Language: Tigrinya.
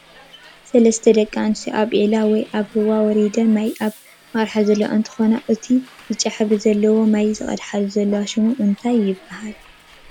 ሰለስተ ደቂ ኣንስትዮ ኣብ ዒላ ወይ ኣብ ሩባ ወርደን ማይ ኣብ ምቅዳሕ ዘለዋ እንትኮነ እቱይ ብጫ ሕብሪ ዘለዎ ማይ ዝቀድሓሉ ዘለዋ ሽሙ እንታይ ይብሃል?